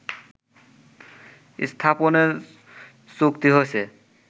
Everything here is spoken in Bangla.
স্থাপনের চুক্তি হয়েছে